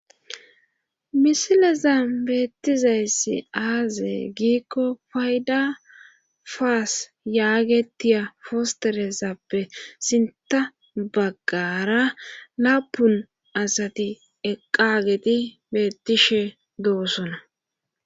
misileza beettizayssi aaze giikko fayda faas yaagetiya fosteresappe sinta baggara laapun asati eqageti beettishe doosona